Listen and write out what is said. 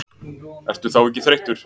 Ertu þá ekki þreyttur?